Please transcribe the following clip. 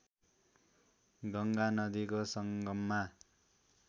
गङ्गा नदीको संगममा